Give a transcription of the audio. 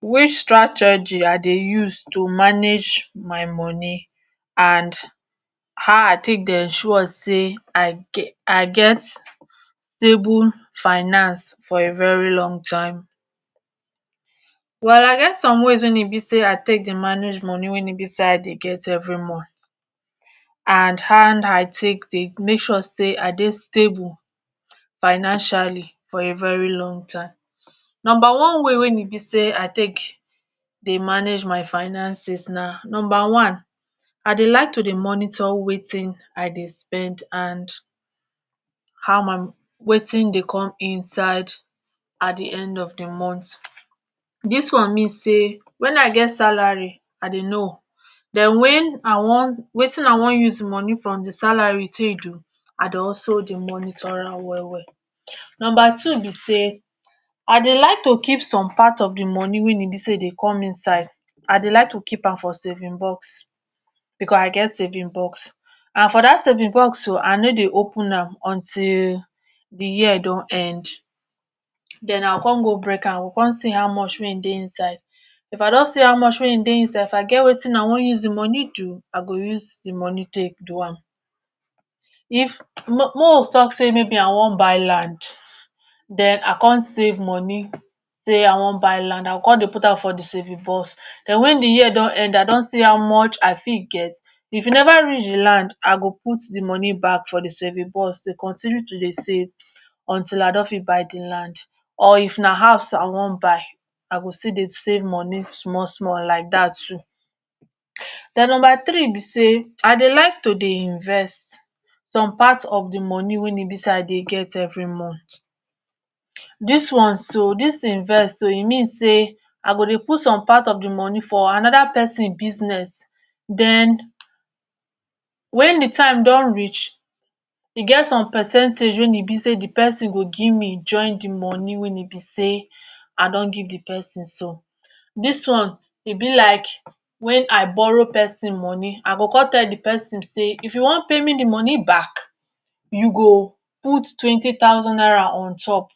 Which strategy I dey use to manage my money and how I take dey ensure sey I get I get stable finance for a very long time. Well I get some ways wey e be sey I take dey manage money wey e be sey I dey get every month. And how I take dey make sure sey I dey stable financially for a very long time. Number one way wey e be sey I take dey manage my finances na number one I dey like to dey monitor wetin I dey spend and how I wetin dey come inside at de end of de month, dis one mean sey when I get salary I dey know. Den when I wan wetin I wan use wetin I wan use money from the salary take do I dey also dey monitor am well well. Number two be sey I dey like to keep some part of de money wey e be sey e dey come inside, I dey like to keep am for saving box because I get saving box. And for dat saving box so I no dey open am until de year don end. Den I go come go break am I go come see how much wey dey inside. If I don see how much wey dey inside if I get wetin I wan use de money do I go use de money take do am. If make we talk sey I wan buy land den I come save money sey I wan buy land I go come dey put am for de saving box. Den when de year don end I don see how much I fit get. If e never reach de land I go put de money back for de saving box to continue to dey save until I don fit buy de land or if na house I wan buy, I go fit dey save money small small like dat too. Den number three be dat I dey like to dey invest. Some part of de money wey e be sey I dey get every month. Dis one so dis invest so e mean sey I go dey put some part of de money for another person business, den when de time don reach, e get some percentage wey e be sey de person go give me join de money wey e be sey I don give de person so. Dis one e be like when I borrow person money I go come tell de person sey if you wan pay me de money back you go put twenty thousand naira on top